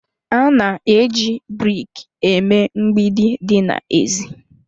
A na-eji brik eme mgbidi dị n'èzí